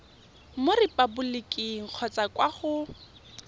mo repaboliking kgotsa kwa go